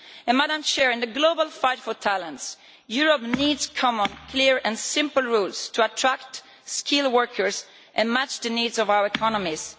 In the global fight for talents, Europe needs common, clear and simple rules to attract skilled workers and match the needs of our economies.